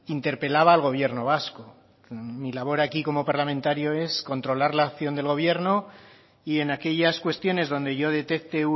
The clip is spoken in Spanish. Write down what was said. interpelaba al gobierno vasco mi labor aquí como parlamentario es controlar la acción del gobierno y en aquellas cuestiones donde yo detecte